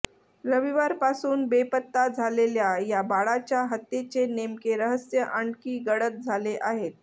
रविवारपासून बेपत्ता झालेल्या या बाळाच्या हत्येचे नेमके रहस्य आणखी गडद झाले आहे